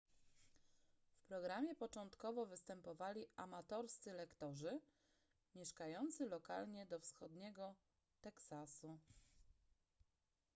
w programie początkowo występowali amatorscy lektorzy mieszkający lokalnie do wschodniego teksasu